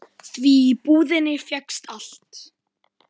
Því í búðinni fékkst allt.